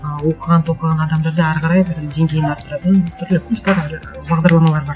ы оқыған тоқыған адамдарды әрі қарай бір деңгейін арттыратын түрлі курстар бар бағдарламалар бар